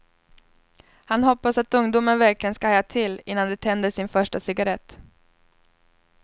Han hoppas att ungdomar verkligen ska haja till innan de tänder sin första cigarett.